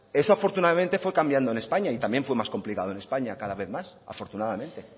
eso afortunadamente fue cambiando en españa y también fue más complicado en españa cada vez más afortunadamente